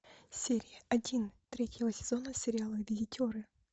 серия один третьего сезона сериала визитеры